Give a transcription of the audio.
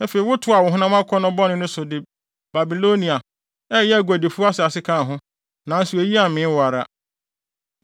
Afei wotoaa wo honam akɔnnɔ bɔne no so de Babilonia, a ɛyɛ aguadifo asase kaa ho, nanso eyi ammee wo ara.